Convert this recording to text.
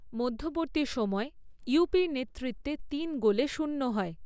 মধ্যবর্তী সময়ে, ইউপির নেতৃত্বে তিন গোলে শূন্য হয়।